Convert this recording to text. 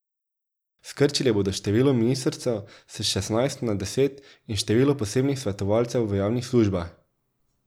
Skrčili bodo število ministrstev s šestnajst na deset in število posebnih svetovalcev v javnih službah.